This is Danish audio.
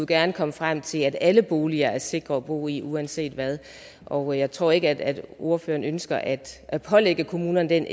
gerne komme frem til at alle boliger er sikre at bo i uanset hvad og jeg tror ikke at ordføreren ønsker at at pålægge kommunerne den